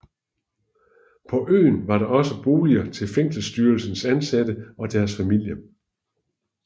På øen var der også boliger til fængselsstyrelsens ansatte og deres familier